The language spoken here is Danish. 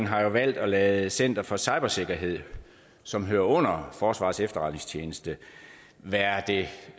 har valgt at lade center for cybersikkerhed som hører under forsvarets efterretningstjeneste være det